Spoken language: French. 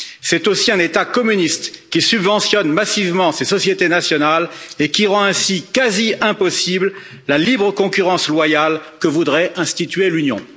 C'est aussi un État communiste qui subventionne massivement ses sociétés nationales et qui rend ainsi quasi impossible la libre concurrence loyale que voudrait instituer l'Union.